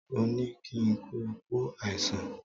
Ó ní kí ń kí kú àsán